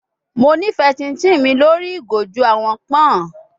Mo nifẹ chinchin mi lori igo ju awọn pọn